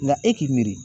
Nka e k'i miiri